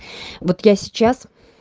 вот я сейчас